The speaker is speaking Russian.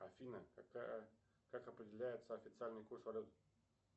афина какая как определяется официальный курс валют